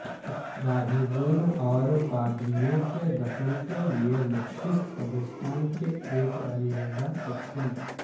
راہبوں اور پادریوں کے دفن کے لئے مختص قبرستان کے ایک علیحدہ سیکشن